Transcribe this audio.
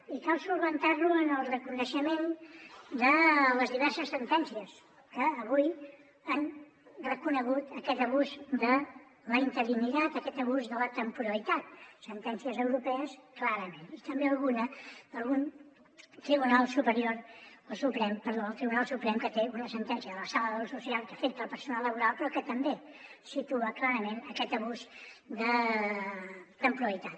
i cal solucionar lo en el reconeixement de les diverses sentències que avui han reconegut aquest abús de la interinitat aquest abús de la temporalitat sentències europees clarament i també alguna d’algun tribunal superior o suprem perdó el tribunal suprem que té una sentència de la sala de lo social que afecta el personal laboral però que també situa clarament aquest abús de temporalitat